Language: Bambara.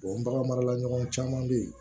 bagan marala ɲɔgɔn caman bɛ yen